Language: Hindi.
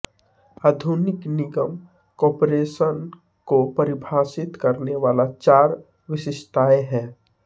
आधुनिक निगम कॉरपोरेशन को परिभाषित करने वाली चार विशिष्टताएं हैं